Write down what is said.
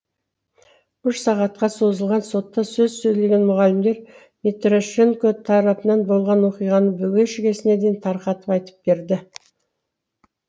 үш сағатқа созылған сотта сөз сөйлеген мұғалімдер митрошенко тарапынан болған оқиғаны бүге шігесіне дейін тарқатып айтып берді